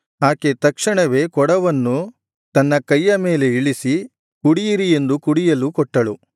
ಆಕೆ ತಕ್ಷಣವೇ ಕೊಡವನ್ನು ತನ್ನ ಕೈಯ ಮೇಲೆ ಇಳಿಸಿ ಕುಡಿಯಿರಿ ಎಂದು ಕುಡಿಯಲು ಕೊಟ್ಟಳು